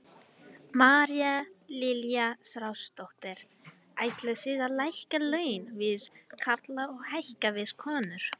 María Lilja Þrastardóttir: Ætlið þið að lækka laun við karla og hækka við konur?